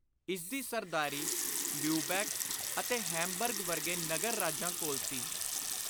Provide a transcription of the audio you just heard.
ਇਸਦੀ ਸਰਦਾਰੀ ਲਿਉਬੈਕ ਅਤੇ ਹੈਮਬਰਗ ਵਰਗੇ ਨਗਰ ਰਾਜਾਂ ਕੋਲ ਸੀ।